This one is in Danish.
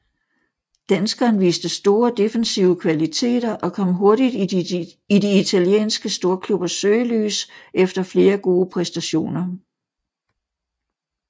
Danskeren viste store defensive kvaliteter og kom hurtigt i de italienske storklubbers søgelys efter flere gode præstationer